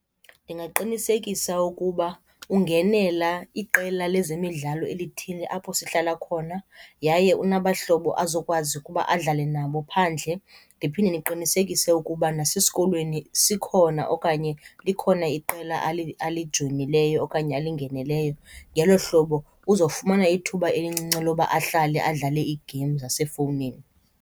Ndingaqinisekisa ukuba ungenela iqela lezemidlalo elithile apho sihlala khona yaye unabahlobo azokwazi ukuba adlale nabo phandle. Ndiphinde ndiqinisekise ukuba nasesikolweni sikhona okanye likhona iqela alijoyinileyo okanye alingenileyo. Ngelo hlobo uzofumana ithuba elincinci loba ahlale adlale iigeyimu zasefowunini.